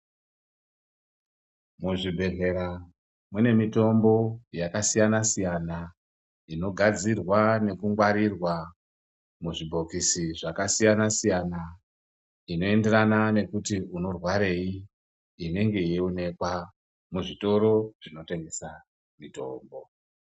Muzvibhehlera mune mitombo yakasiyanasiyana inogadzirwa nekungwarirwa muzvibhokisi zvakasiyanasiyana inoenderana nekuti unorwarei inenge yeionekwa muzvitoro zvinotengesa mitombo.